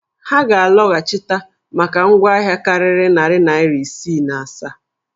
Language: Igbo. Ha ga-alọhachịta maka ngwa ahịa karịrị narị naịra isii na asaa?